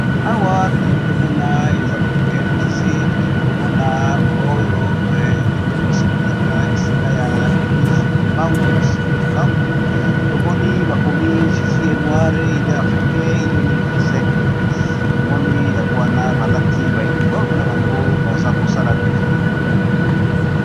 Awa , Tozali komona eza makambo ya église tozali komona oyo bato , oyo basambelaka esika ya église ya kimbangu, simon kimbangu tomoni bakomi . jésus es noir, il est africain , il es né Le 25 Mai, tomoni yango wana balati ba uniforme na bango baza kosala défilé .